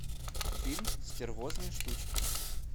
фильм стервозные штучки